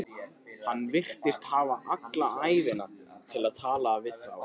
Hann virtist hafa alla ævina til að tala við þá.